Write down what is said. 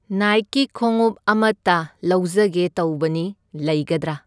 ꯅꯥꯏꯛꯀꯤ ꯈꯣꯉꯨꯞ ꯑꯃꯇ ꯂꯧꯖꯒꯦ ꯇꯧꯕꯅꯤ, ꯂꯩꯒꯗ꯭ꯔꯥ?